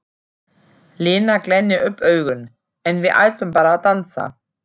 Lena glennir upp augun: En við ætlum bara að dansa.